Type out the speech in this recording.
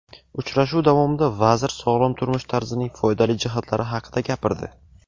Uchrashuv davomida vazir sog‘lom turmush tarzining foydali jihatlari haqida gapirdi.